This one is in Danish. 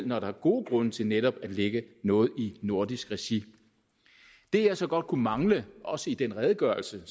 når der er gode grunde til netop at lægge noget i nordisk regi det jeg så godt kunne mangle også i den redegørelse